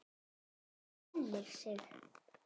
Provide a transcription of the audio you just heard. Hún glennir sig.